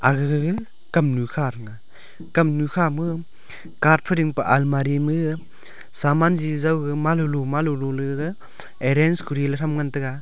aga gaga kamnu kha thega kamnu kha ma cart phai ding pe almari ma gaga saman jiji jaw ga manlo lo malolo arange kori le tham ngan tega.